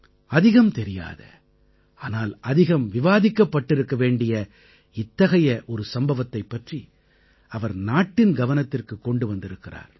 அதிகம் தெரியாத ஆனால் அதிகம் விவாதிக்கப்பட்டிருக்க வேண்டிய இத்தகைய ஒரு சம்பவத்தைப் பற்றி அவர் நாட்டின் கவனத்திற்கு கொண்டு வந்திருக்கிறார்